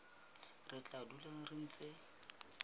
re tla dula re ntse